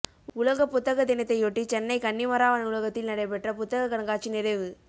உலகப் புத்தக தினத்தையொட்டி சென்னை கன்னிமரா நூலகத்தில் நடைபெற்ற புத்தக கண்காட்சி நிறைவு